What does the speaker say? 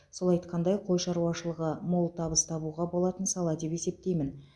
сол айтқандай қой шаруашылығы мол табыс табуға болатын сала деп есептеймін